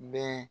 Bɛn